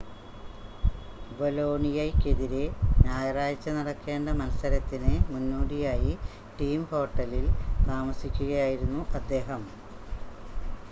ബൊലോണിയയ്‌ക്കെതിരെ ഞായറാഴ്ച നടക്കേണ്ട മത്സരത്തിന് മുന്നോടിയായി ടീം ഹോട്ടലിൽ താമസിക്കുകയായിരുന്നു അദ്ദേഹം